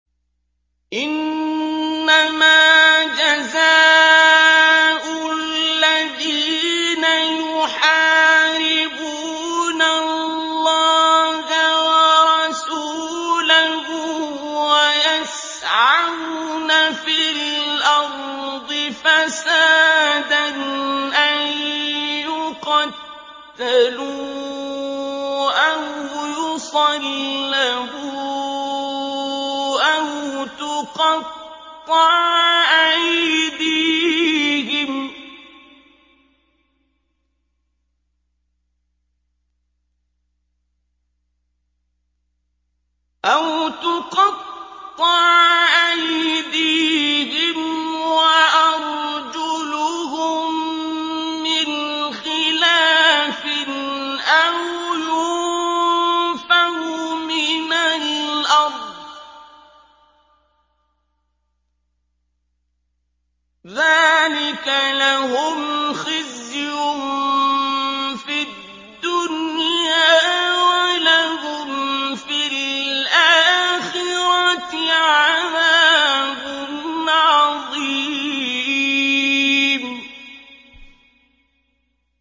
إِنَّمَا جَزَاءُ الَّذِينَ يُحَارِبُونَ اللَّهَ وَرَسُولَهُ وَيَسْعَوْنَ فِي الْأَرْضِ فَسَادًا أَن يُقَتَّلُوا أَوْ يُصَلَّبُوا أَوْ تُقَطَّعَ أَيْدِيهِمْ وَأَرْجُلُهُم مِّنْ خِلَافٍ أَوْ يُنفَوْا مِنَ الْأَرْضِ ۚ ذَٰلِكَ لَهُمْ خِزْيٌ فِي الدُّنْيَا ۖ وَلَهُمْ فِي الْآخِرَةِ عَذَابٌ عَظِيمٌ